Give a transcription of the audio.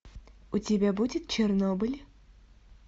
у тебя будет чернобыль